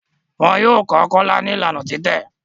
Wón yọ kò Kola ní Ìlànà titẹ